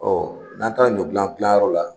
n'an taara ɲɔ dilan dilanyɔrɔ la